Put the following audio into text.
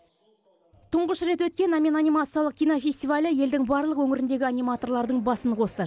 тұңғыш рет өткен әмен анимациялық кинофестивалі елдің барлық өңіріндегі аниматорларының басын қосты